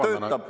… töötab …